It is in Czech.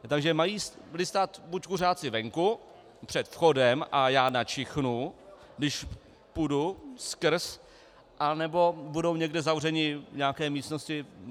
Takže mají stát buď kuřáci venku před vchodem a já načichnu, když půjdu skrz, nebo budou někde zavřeni v nějaké místnosti.